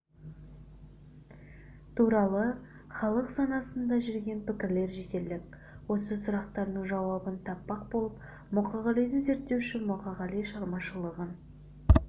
туралы халық санасында жүрген пікірлер жетерлік осы сұрақтардың жауабын таппақ боп мұқағалиды зерттеуші мұқағали шығармашылығын